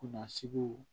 Kunnasiw